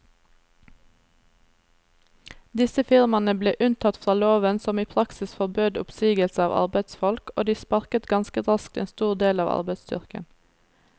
Disse firmaene ble unntatt fra loven som i praksis forbød oppsigelse av arbeidsfolk, og de sparket ganske raskt en stor del av arbeidsstyrken.